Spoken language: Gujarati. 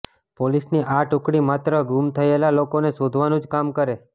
પોલીસની આ ટૂકડી માત્ર ગૂમ થયેલા લોકોને શોધવાનું જ કામ કરે